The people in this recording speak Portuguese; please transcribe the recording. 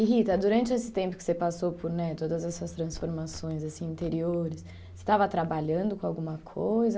E Rita, durante esse tempo que você passou por né todas essas transformações assim interiores, você estava trabalhando com alguma coisa?